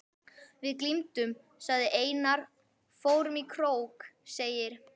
Við glímdum, segir Einar, fórum í krók, segir